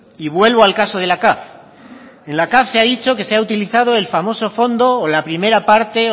y vuelvo al caso de la caf en la caf se ha dicho que se ha utilizado el famoso fondo o la primera parte